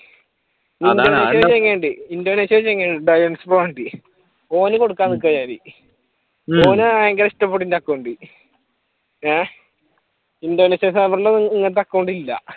Indonesia ഒരു ചങ്ങാതിയുണ്ട് ടയൻസ് ബോണ്ട് ഓന് കൊടുക്കാൻ നിക്കുവാ ഞാൻ ഓൻ പയങ്കര ഇഷ്ട്ടപെട്ടു എന്റെ account ഉം ഏഹ് ഇൻഡോനേഷ്യ ഇങ്ങനത്തെ account ഇല്ല